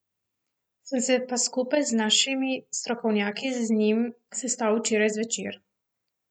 Sem se pa skupaj z našimi strokovnjaki z njim sestal včeraj zvečer.